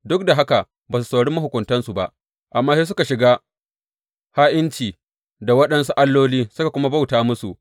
Duk da haka ba su saurari mahukuntansu ba amma sai suka shiga ha’inci da waɗansu alloli suka kuma bauta musu.